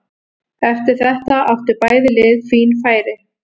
Eftir þetta áttu bæði lið fín færi.